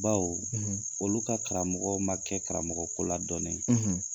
Baw , olu ka karamɔgɔ ma kɛ karamɔgɔ ko ladɔn yen, .